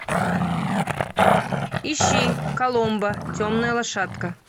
ищи коломбо темная лошадка